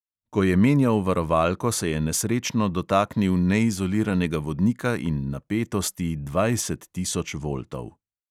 Ko je menjal varovalko, se je nesrečno dotaknil neizoliranega vodnika in napetosti dvajset tisoč voltov.